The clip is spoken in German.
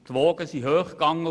Die Wogen gingen hoch.